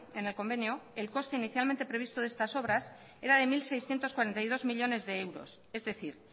en el convenio el coste inicialmente previsto de estas obras era de mil seiscientos cuarenta y dos millónes de euros es decir